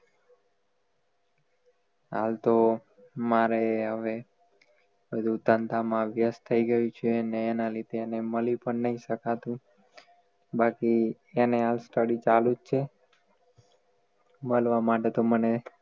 આમ તો મારે હવે ધંધા માં વ્યસ્ત થઈ ગયું છે અને એના લીધે મલી પણ નહીં શકાતું બાકી એને study ચાલુ જ છે મલવા માટે તો મને